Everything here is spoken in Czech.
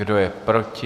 Kdo je proti?